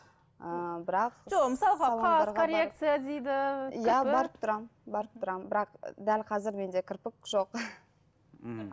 ы бірақ жоқ мысалға коррекция дейді иә барып тұрамын барып тұрамын бірақ дәл қазір менде кірпік жоқ мхм